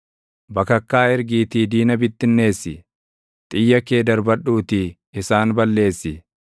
Bakakkaa ergiitii diina bittinneessi; xiyya kee darbadhuutii isaan balleessi.